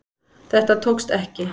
Þetta tókst ekki